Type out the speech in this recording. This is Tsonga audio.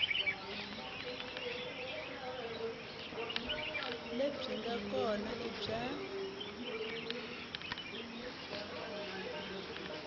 lebyi nga kona i bya